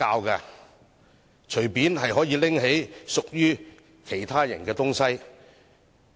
可以隨意拿起屬於其他人的東西嗎？